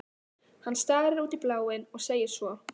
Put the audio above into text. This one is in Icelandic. Hann starir út í bláinn og segir svo